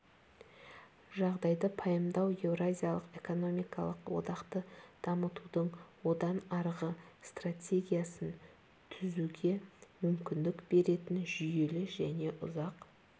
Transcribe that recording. жағдайды пайымдау еуразиялық экономикалық одақты дамытудың одан арғы стратегиясын түзуге мүмкіндік беретін жүйелі және ұзақ